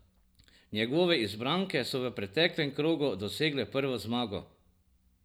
Njegove izbranke so v preteklem krogu dosegle prvo zmago.